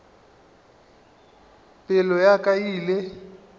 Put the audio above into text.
pelo ya ka e ile